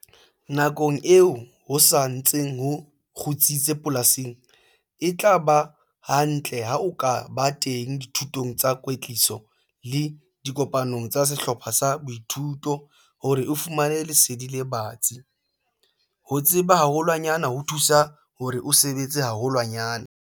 Nakong eo ho sa ntseng ho kgutsitse polasing, e tla ba hantle ha o ka ba teng dithutong tsa kwetliso le dikopanong tsa sehlopha sa boithuto hore o fumane lesedi le batsi - ho tseba haholwanyane ho thusa hore o sebetse haholwanyane!